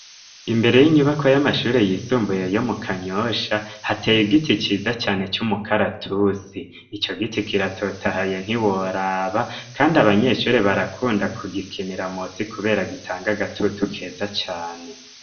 Imbere y'inyubakwa y'amashuri yisumbuye yo mu Kanyosha hateye igiti cyiza cyane cy'umukaratusi icyo giti kiratotahaye ntiworaba kandi abanyeshuri barakunda ku gikinira mosi kubera gitanga gatutu keza cane.